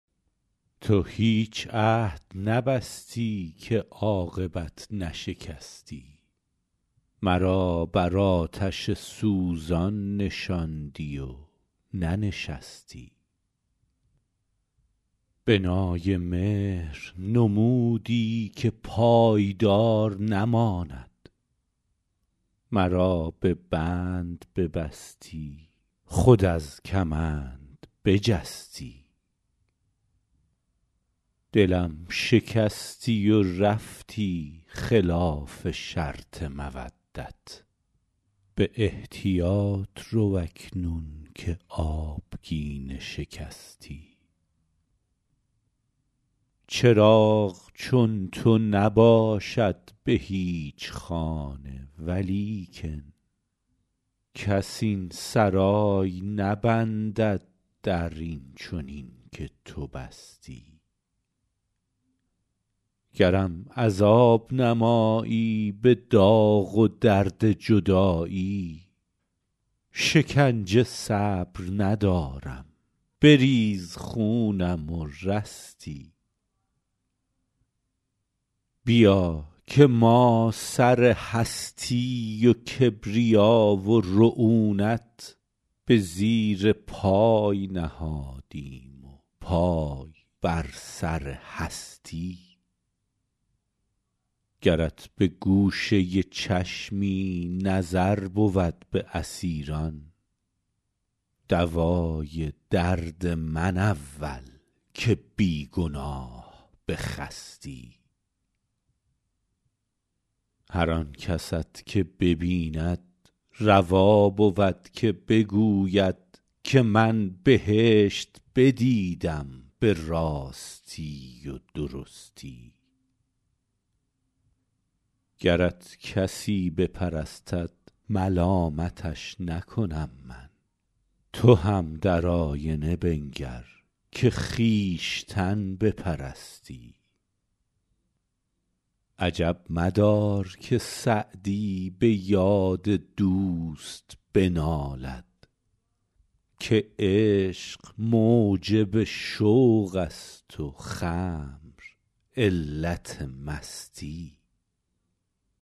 تو هیچ عهد نبستی که عاقبت نشکستی مرا بر آتش سوزان نشاندی و ننشستی بنای مهر نمودی که پایدار نماند مرا به بند ببستی خود از کمند بجستی دلم شکستی و رفتی خلاف شرط مودت به احتیاط رو اکنون که آبگینه شکستی چراغ چون تو نباشد به هیچ خانه ولیکن کس این سرای نبندد در این چنین که تو بستی گرم عذاب نمایی به داغ و درد جدایی شکنجه صبر ندارم بریز خونم و رستی بیا که ما سر هستی و کبریا و رعونت به زیر پای نهادیم و پای بر سر هستی گرت به گوشه چشمی نظر بود به اسیران دوای درد من اول که بی گناه بخستی هر آن کست که ببیند روا بود که بگوید که من بهشت بدیدم به راستی و درستی گرت کسی بپرستد ملامتش نکنم من تو هم در آینه بنگر که خویشتن بپرستی عجب مدار که سعدی به یاد دوست بنالد که عشق موجب شوق است و خمر علت مستی